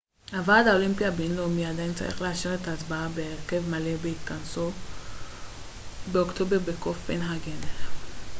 הוועד האולימפי הבינלאומי עדיין צריך לאשר את ההצבעה בהרכב מלא בהתכנסו באוקטובר בקופנהגן